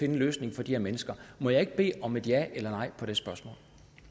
en løsning for de her mennesker må jeg ikke bede om et ja eller nej på det spørgsmål